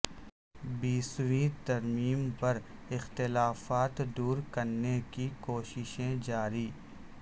بیسویں ترمیم پر اختلافات دور کرنے کی کوششیں جاری